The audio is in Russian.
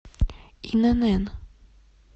инн